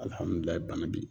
Alihamudulahi bana be ye